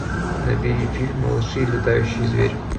набери фильм малыши и летающий зверь